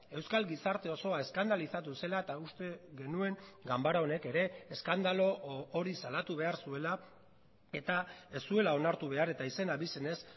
euskal gizarte osoa eskandalizatu zela eta uste genuen ganbara honek ere eskandalu hori salatu behar zuela eta ez zuela onartu behar eta izen abizenez